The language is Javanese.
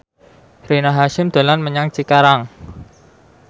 Rina Hasyim dolan menyang Cikarang